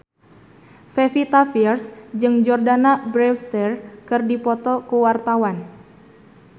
Pevita Pearce jeung Jordana Brewster keur dipoto ku wartawan